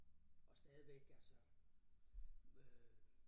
Og stadigvæk altså øh